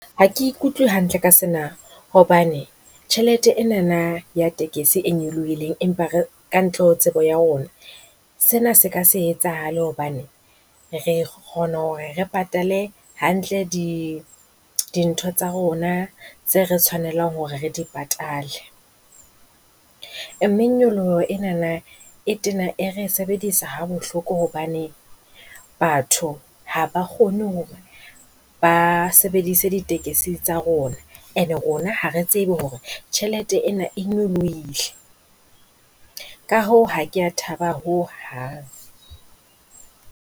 Ha ke utlwe hantle ka sena hobane tjhelete enana ya tekesi e nyolohileng empa re ka ntle ho tseba ya rona. Sena se ka se etsahale hobane re kgona hore re patale hantle dintho tsa rona tseo re tshwanelang hore re di patale. Mme nyoloho enana e tena e re sebedisa ha bohloko hobane batho ha ba kgone ho hore ba sebedise ditekesi tsa rona and rona ha re tsebe hore tjhelete ena e nyolohile. Ka hoo ha ke a thaba ho hang.